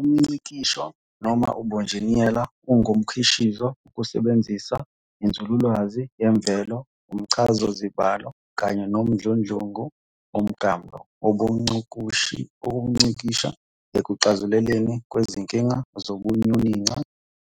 UmNgcikisho, noma ubunjineyela, ungumkhwishizo wokusebenzisa inzululwazi yemvelo, umchazazibalo, kanye nomdludlungu womklamo wokungcikisha ekuxazululweni kwezinkinga zobunyoninco,